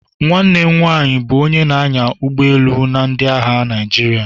Nwanne m nwanyị bụ onye na-anya ụgbọ elu na ndị agha Naịjirịa.